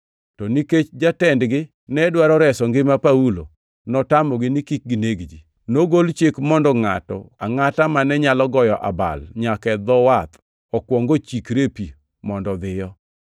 To nikech jatendgi ne dwaro reso ngima Paulo, notamogi ni kik gineg-gi. Nogol chik mondo ngʼato angʼata mane nyalo goyo abal nyaka e dho wath okuong ochikre e pi mondo odhiyo.